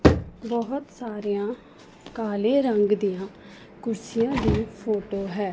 ਬਹੁਤ ਸਾਰੀਆਂ ਕਾਲੇ ਰੰਗ ਦੀਆਂ ਕੁਰਸੀਆਂ ਦੀ ਫੋਟੋ ਹੈ।